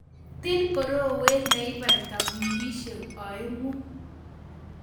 Tii borowet leibata wikisiek oeng'u.